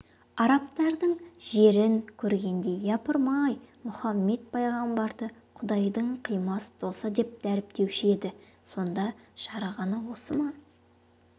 араптардың жерін көргенде япырмай Мұхаммед пайғамбарды құдайдың қимас досы деп дәріптеуші еді сонда жарығаны осы ма